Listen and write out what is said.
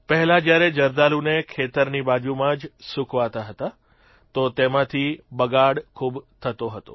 પહેલાં જયારે જરદાલુને ખેતરની બાજૂમાં જ સૂકવતા હતા તો તેમાંથી બગાડ ખૂબ થતો હતો